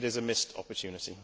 it is a missed opportunity.